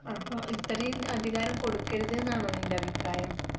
അപ്പൊ ഇത്രയും അധികാരം കൊടുക്കരുതെന്നാണോ നിന്റെ അഭിപ്രായം